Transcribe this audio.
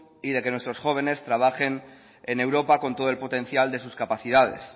y de que nos nuestros jóvenes trabajen en europa con todo el potencial de sus capacidades